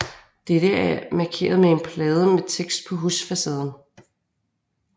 Det er markeret med en plade med tekst på husfacaden